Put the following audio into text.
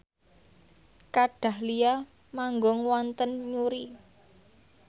Kat Dahlia manggung wonten Newry